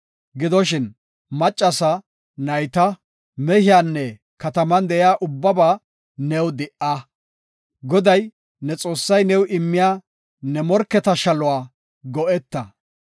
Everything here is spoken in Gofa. Gidoshin, maccasa, nayta, mehiyanne kataman de7iya ubbaba new di77a. Goday, ne Xoossay new immiya ne morketa shaluwa go7eta.